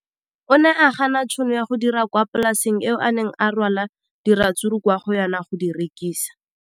O ne a gana tšhono ya go dira kwa polaseng eo a neng rwala diratsuru kwa go yona go di rekisa.